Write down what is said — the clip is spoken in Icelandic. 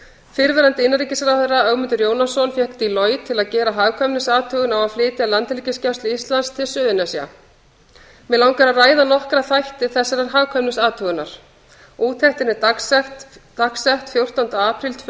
fyrrverandi innanríkisráðherra ögmundur jónasson fékk deloitte til að gera hagkvæmniathugun á að flytja landhelgisgæslu íslands til suðurnesja mig langar til að ræða nokkra þætti þessarar hagkvæmniathugunar úttektin er dagsett fjórtánda apríl tvö